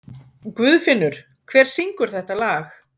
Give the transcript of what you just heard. Guðfinnur, hver syngur þetta lag?